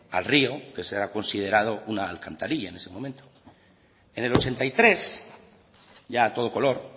al río que era considerado una alcantarilla en ese momento en el ochenta y tres ya a todo color